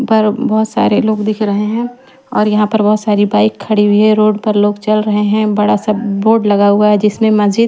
पर बहोत सारे लोग दिख रहे है और यहाँ पर बहोत सारी बाइक खड़ी हुई है रोड पर लोग चल रहे है बड़ा सा बोर्ड लगा हुआ है जिसमें मस्जिद --